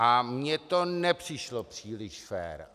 A mně to nepřišlo příliš fér.